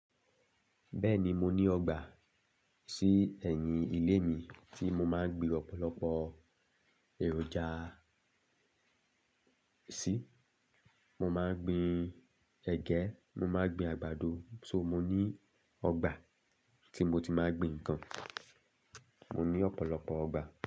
Bẹ́ẹ̀ni, mo ní ọgbà sí ẹ̀yìn ilé mí tí mo máa ń gbín ọ̀pọ̀lọpọ̀ èròjà sí. Mo máa ń gbin ẹ̀gẹ́, mo máa ń gbin àgbàdo. So mó ní ọgbà tí mó ti máa ń gbin nǹkan. Mó ní ọ̀pọ̀lọpọ̀ ọgbà.